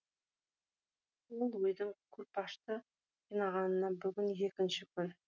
ол ойдың күлпашты қинағанына бүгін екінші күн